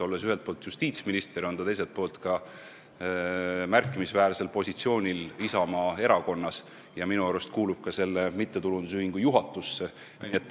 Ühelt poolt on ta justiitsminister, teiselt poolt aga märkimisväärsel positsioonil Isamaa erakonnas ja minu arust kuulub ta ka selle mittetulundusühingu juhatusse.